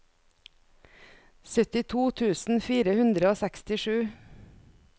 syttito tusen fire hundre og sekstisju